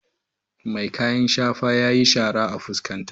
Mai kayan shafa yayi shara a fuskata.